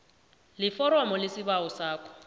leforomo lesibawo sakho